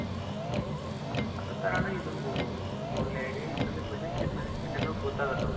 ಆದ ಕಾರಣ ಇದೊಂದು ತುಂಬ ಒಳ್ಳೆ ಐಡಿಯ ಇದ್ರಲ್ಲಿ financial management ಎಲ್ಲವು ಗೊತ್ತಾಗುತ್ತೆ ಅವರ್ಗೆ.